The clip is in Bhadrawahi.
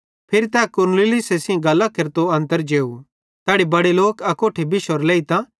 फिरी तै कुरनेलियुसे सेइं गल्लां केरतो अन्तर जेव तैड़ी बड़े लोक अकोट्ठे बिश्शोरे लेइतां